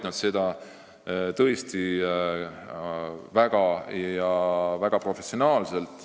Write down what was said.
Nad teevad seda väga professionaalselt.